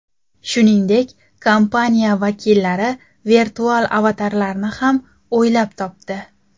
Shuningdek, kompaniya vakillari virtual avatarlarni ham o‘ylab topdi.